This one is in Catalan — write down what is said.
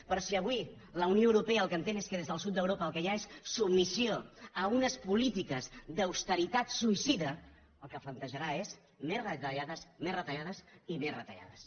però si avui la unió europea el que entén és que des del sud d’europa el que hi ha és submissió a unes polítiques d’austeritat suïcida el que plantejarà és més retallades més retallades i més retallades